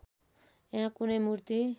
यहाँ कुनै मूर्ति